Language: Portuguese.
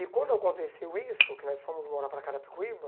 E quando aconteceu isso, que nós fomos morar para Carapicuíba,